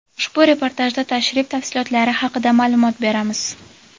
Ushbu reportajda tashrif tafsilotlari haqida maʼlumot beramiz.